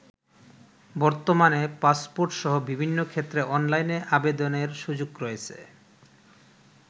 বর্তমানে পাসপোর্টসহ বিভিন্ন ক্ষেত্রে অনলাইনে আবেদনের সুযোগ রয়েছে।